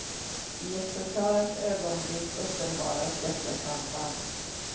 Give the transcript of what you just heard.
I ett förklarat ögonblick uppenbaras detta samband.